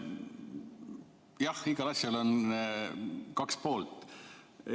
Jah, igal asjal on kaks poolt.